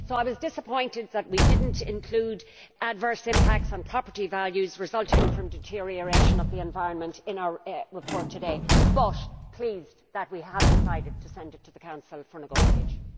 So I was disappointed that we did not include adverse impacts on property values resulting from deterioration of the environment in our report today, but I am pleased that we have decided to send it to the Council for negotiation.